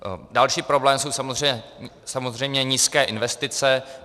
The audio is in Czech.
Další problém jsou samozřejmě nízké investice.